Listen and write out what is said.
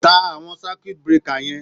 Ta àwọn circiut breaker yẹn.